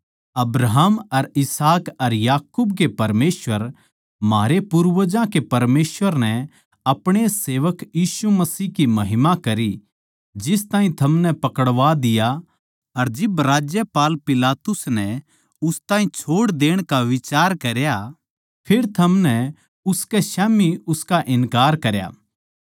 अब्राहम अर इसहाक अर याकूब के परमेसवर म्हारे पूर्वजां के परमेसवर नै अपणे सेवक यीशु मसीह की महिमा करी जिस ताहीं थमनै पकड़वा दिया अर जिब राज्यपाल पिलातुस नै उस ताहीं छोड़ देण का बिचार करया फेर थमनै उसकै स्याम्ही उसका इन्कार करया